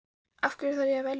Af hverju þarf ég að velja?